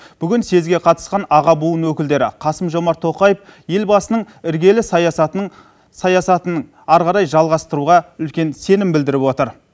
бүгің съезге қатысқан аға буын өкілдері қасым жомарт тоқаев елбасының іргелі саясатының ары қарай жалғастыруға үлкен сенім білдіріп отыр